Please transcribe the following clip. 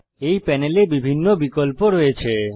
এই প্যানেলে বিভিন্ন বিকল্প রয়েছে